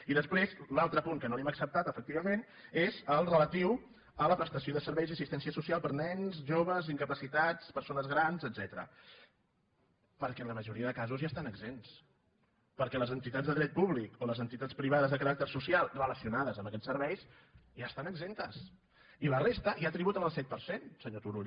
i després l’altre punt que no li hem acceptat efecti·vament és el relatiu a la prestació de serveis i assis·tència social per a nens joves incapacitats persones grans etcètera perquè en la majoria de casos ja n’estan exempts perquè les entitats de dret públic o les entitats privades de caràcter social relacionades amb aquests serveis ja n’estan exemptes i la resta ja tributen el set per cent senyor turull